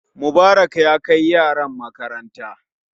Mubarak ya kai yaran makaranta